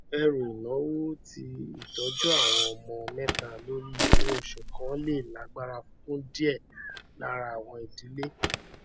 ẹrù ináwó ti ìtọjú àwọn ọmọ mẹta lórí owóoṣù kan le lágbára fún díẹ lára àwọn idílé